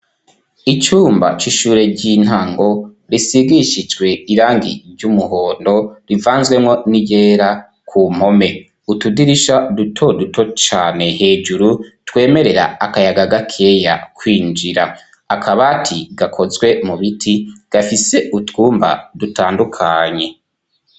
icumba c'ishure ry'intango risigishijwe irangi ry'umuhondo rivanzwemo n'iryera ku mpome utudirisha duto duto cane hejuru twemerera akayaga gakeya kwinjira akabati gakozwe mu biti gafise utwumba dutandukanye